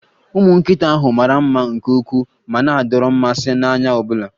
Ụmụ nkịta ahụ mara mma nke ukwuu ma na-adọrọ mmasị n'anya ọ bụla